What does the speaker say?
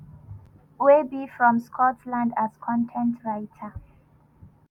wey be from scotland as con ten t writer.